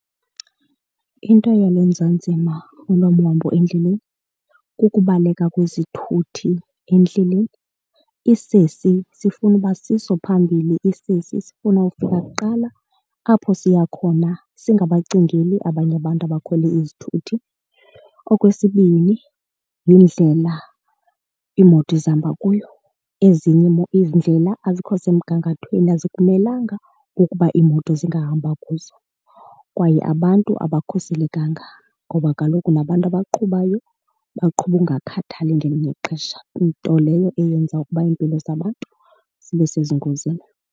Into iyalenza nzima olwam uhambo endleleni kukubaleka kwezithuthi endleleni. Isesi sifuna uba siso esiphambili, isesi sifuna ukufika kuqala apho siya khona singabacingeli abanye abantu abakhwele izithuthi. Okwesibini yindlela iimoto ezihamba kuyo. Ezinye iindlela azikho semgangathweni azikulungelanga ukuba iimoto zingahamba kuzo kwaye abantu abakhuselekanga ngoba kaloku nabantu abaqhubayo baqhuba ukungakhathali ngelinye ixesha, nto leyo eyenza ukuba iimpilo zabantu zibe sezingozini.